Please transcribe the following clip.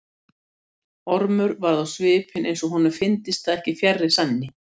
Ormur varð á svipinn eins og honum fyndist það ekki fjarri sanni.